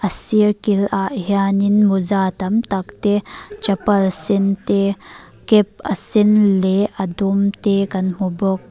a sir kil ah hianin mawza tam tak te chapal sen te cap a sen leh a dum te kan hmu bawk.